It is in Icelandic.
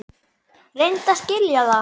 Reyndu að skilja það!